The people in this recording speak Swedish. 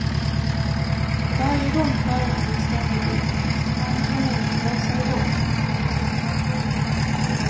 Varje gång föraren vill starta bilen måste han eller hon blåsa i låset.